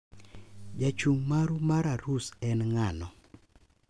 Jachung` maru mar arus en ng`ano?